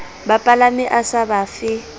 bapalami a sa ba fe